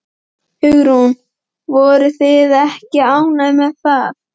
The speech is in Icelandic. Hugrún: Voruð þið ekki ánægðar með það?